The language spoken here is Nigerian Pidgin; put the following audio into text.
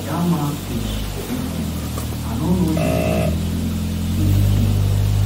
dat man speech make sense i no know if dem dey think we pikin